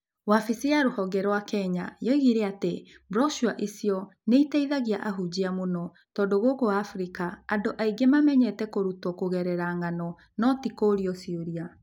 Wabici ya rũhonge ya Kenya yoigire atĩ broshua icio nĩ iteithagia ahunjia mũno, tondũ gũkũ Afrika andũ aingĩ mamenyerete kũrutwo kũgerera ng’ano, no ti kũũrio ciũria.